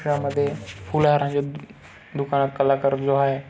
या मध्ये फूल हार आहेत. दुकानात आहे.